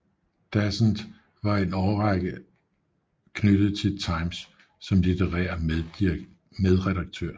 Dasent var i en række af år knyttet til Times som litterær medredaktør